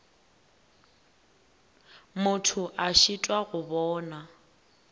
motho a šitwa go bona